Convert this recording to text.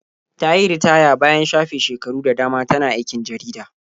Ta yi ritaya bayan shafe shekaru da dama tana aikin jarida.